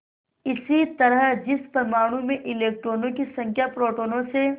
इसी तरह जिस परमाणु में इलेक्ट्रॉनों की संख्या प्रोटोनों से